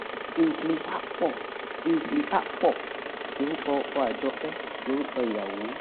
kingsley akpor kingsley akpor lorúkọ ọkọ àjọké lórúkọ ìyàwó